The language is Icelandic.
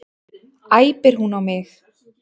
æpir hún á mig.